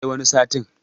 sai wani satin